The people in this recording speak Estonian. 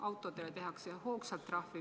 Autojuhtidele tehakse hoogsalt trahve.